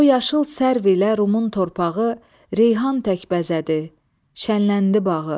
O yaşıl sərv ilə Rumun torpağı, Reyhan tək bəzədi, şənləndi bağı.